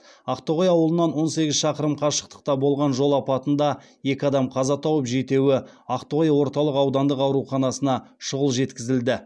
ақтоғай ауылынан он сегіз шақырым қашықтықта болған жол апатында екі адам қаза тауып жетеуі ақтоғай орталық аудандық ауруханасына шұғыл жеткізілді